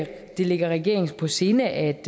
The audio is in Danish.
det ligger regeringen på sinde at